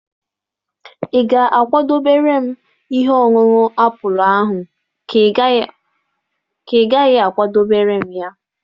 Ị ga-akwadebere m ihe ọṅụṅụ apụl ahụ ka ị gaghị a kwadebere m ya?